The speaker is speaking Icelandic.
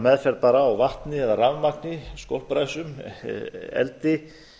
meðferð á vatni eða rafmagni skolpræsum eldi